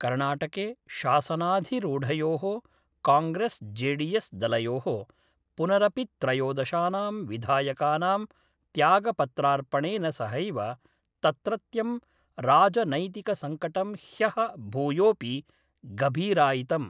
कर्णाटके शासनाधिरूढयो: कॉग्रेस् जेडीएस् दलयो: पुनरपित्रयोदशानां विधायकानां त्यागपत्रार्पणेन सहैव तत्रत्यं राजनैतिकसंकटं ह्य: भूयोपि गभीरायितम्।